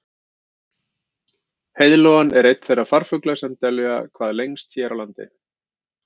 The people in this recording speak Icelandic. heiðlóan er einn þeirra farfugla sem dvelja hvað lengst hér á landi